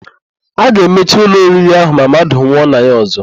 A ga-emechi ụlọ oriri ahụ ma mmadụ nwụọ na ya ọ̀zọ́.